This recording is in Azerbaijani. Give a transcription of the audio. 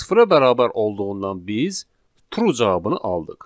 Sıfıra bərabər olduğundan biz true cavabını aldıq.